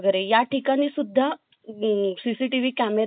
CCTV camera असणे गरजेचे आहे ग